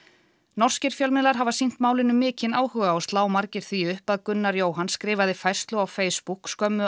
norskir fjölmiðlar hafa sýnt málinu mikinn áhuga og slá margir því upp að Gunnar Jóhann skrifaði færslu á Facebook skömmu